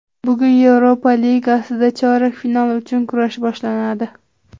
Bugun Yevropa Ligasida chorak final uchun kurash boshlanadi.